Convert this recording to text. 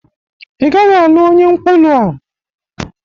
Ị gaghị alụ onye nkwulu a!